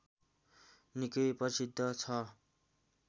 निकै प्रसिद्ध छ